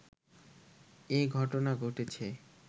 এ ঘটনা ঘটেছে